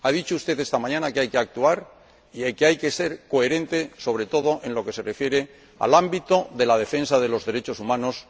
Ha dicho usted esta mañana que hay que actuar y que hay que ser coherente, sobre todo en lo que se refiere al ámbito de la defensa de los derechos humanos